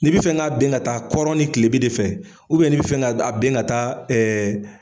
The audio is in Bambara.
N'i bi fɛ k'a bin ka taa kɔrɔn ni kilebi de fɛ n'i bi fɛ k'a bin ka taa